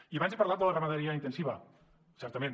i abans he parlat de la ramaderia intensiva certament